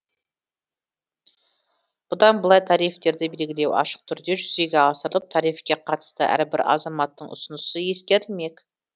бұдан былай тарифтерді белгілеу ашық түрде жүзеге асырылып тарифке қатысты әрбір азаматтың ұсынысы ескерілмек